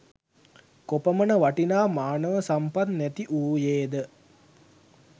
කොපමණ වටිනා මානව සම්පත් නැති වූයේද